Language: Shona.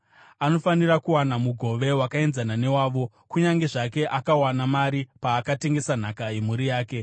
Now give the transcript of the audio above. Anofanira kuwana mugove wakaenzana newavo, kunyange zvake akawana mari paakatengesa nhaka yemhuri yake.